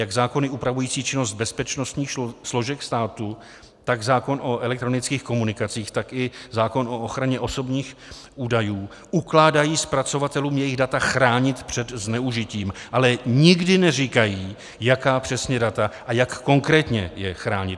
Jak zákony upravující činnost bezpečnostních složek státu, tak zákon o elektronických komunikacích, tak i zákon o ochraně osobních údajů ukládají zpracovatelům jejich data chránit před zneužitím, ale nikdy neříkají, jaká přesně data a jak konkrétně je chránit.